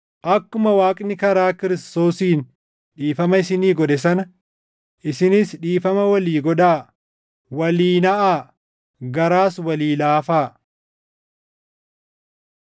Akkuma Waaqni karaa Kiristoosiin dhiifama isinii godhe sana, isinis dhiifama walii godhaa; walii naʼaa; garaas walii laafaa.